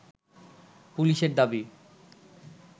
পুলিশের দাবি